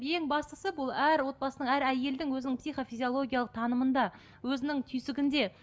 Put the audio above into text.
ең бастысы бұл әр отбасының әр әйелдің өзінің психо физиологиялық танымында өзінің түйсігінде